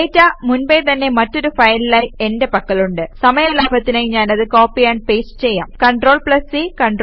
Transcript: data മുൻപേ തന്നെ മറ്റൊരു ഫയലിലായി എന്റെ പക്കലുണ്ട് സമയ ലാഭത്തിനായി ഞാനത് കോപ്പി ആംപ് പേസ്റ്റ് ചെയ്യാം CTRLC CTRLV